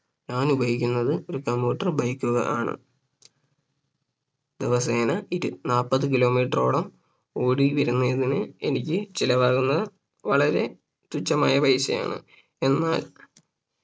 ഞാൻ ഉപയോഗിക്കുന്നത് ഒര് commuter bike കളാണ് ദിവസേന ഇരു നാപ്പത് kilometer റോളം ഓടി വരുന്നതിന് എനിക്ക് ചിലവാകുന്ന വളരെ തുച്ഛമായ പൈസയാണ് എന്നാൽ